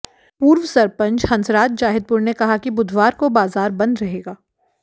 पूर्व सरपंच हंसराज जाहिदपुर ने कहा कि बुधवार को बाजार बंद रहेगा